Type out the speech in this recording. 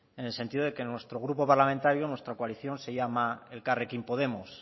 en el sentido de que nuestro grupo parlamentario nuestra coalición se llama elkarrekin podemos